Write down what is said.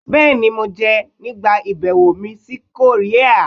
Bẹ́ẹ̀ni! Mo jẹ ẹ nigba ibẹwo mi si Korea